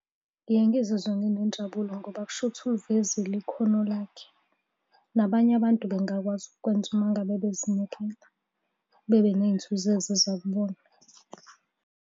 Ngiye ngizizwe nginenjabulo ngoba kushuthi ulivezile ikhono lakhe, nabanye abantu bengakwazi ukukwenza uma ngabe bezinikela bebe ney'nzuzo eziza kubona.